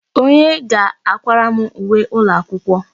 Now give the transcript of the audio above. Onye ga-akwara m uwe ụlọakwụkwọ?